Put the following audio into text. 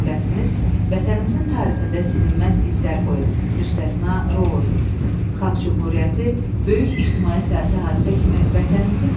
Qısa zaman kəsiyində bu hakimiyyətin həyata keçirdiyi tədbirlər, reallaşdırdığı, yaxud planlaşdırdığı işlər milli zəmində köklü dəyişikliyin nə demək olmasından xəbər verirdi.